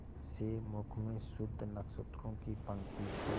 से मुख में शुद्ध नक्षत्रों की पंक्ति के